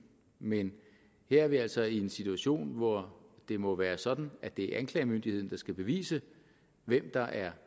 men her er vi altså i en situation hvor det må være sådan at det er anklagemyndigheden der skal bevise hvem der er